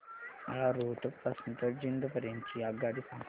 मला रोहतक पासून तर जिंद पर्यंत ची आगगाडी सांगा